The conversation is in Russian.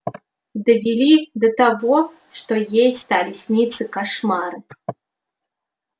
довели до того что ей стали сниться кошмары